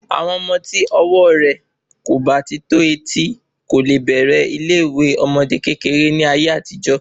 Ọmọ ti ọwọ rẹ kò bá ti tó etí ko le bẹ̀rẹ̀ ilé ìwé àwọn ọmọdé kékeré ní ayé àtijó